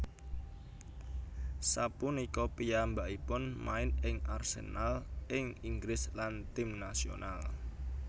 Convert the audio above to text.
Sapunika piyambakipun main ing Arsenal ing Inggris lan tim nasional